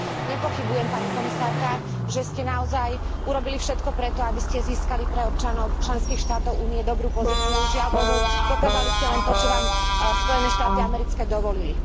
Nepochybujem, pani komisárka, že ste naozaj urobili všetko pre to, aby ste získali pre občanov členských štátov Únie dobrú pozíciu, žiaľbohu, dokázali ste len to, čo vám Spojené štáty americké dovolili.